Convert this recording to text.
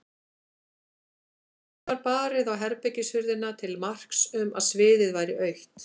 Um síðir var barið á herbergishurðina til marks um að sviðið væri autt.